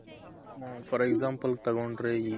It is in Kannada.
for example ತಗೊಂಡ್ರೆ